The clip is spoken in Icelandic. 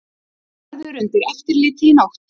Verður undir eftirliti í nótt